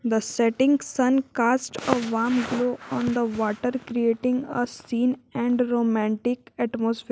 The setting sun cast a warm glow on the water creating a scene and romantic atmosphere.